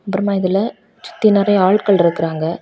அப்புறமா இதுல சுத்தி நறைய ஆள்கள் இருக்காங்க.